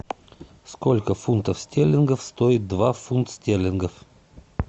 сколько фунтов стерлингов стоит два фунт стерлингов